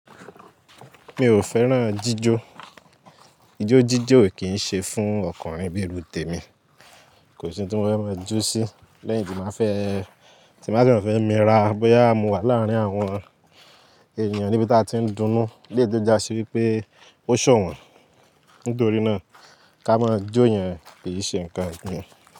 Mi ò fẹ́ràn jíjó. Ijó jíjó kì ń ṣe fún ọkùnrin bíi iru temi. Kò sí n tí mo fẹ́ máa jó sí. Lẹ́yìn tí máa fẹ́, tí ba dẹ fẹ́ na ra bóyá mo wà láàrin àwọn ènìyàn níbi tí a ti ń dunú. Eleyii to jásí wípé ó ṣọ̀wọ́n. Nítorí náà ká máa jó yẹn ki ì ṣe ǹkan fún mi.